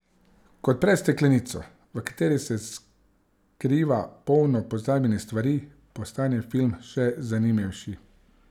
Ko odpreš steklenico, v kateri se skriva polno pozabljenih stvari, postane film še zanimivejši.